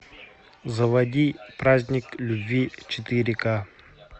заводи праздник любви четыре ка